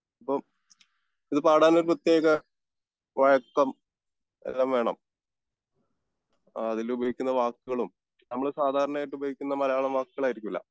അപ്പോം ഇത് പാടാൻ ഒരു പ്രത്യേക വഴക്കംഎല്ലാം വേണം അതിൽ ഉപയോഗിക്കുന്ന വാക്കുകളും നമ്മൾ സാധാരണയായിട്ട് ഉപയോഗിക്കുന്ന മലയാളം വാക്കുകൾ ആയിരിക്കില്ല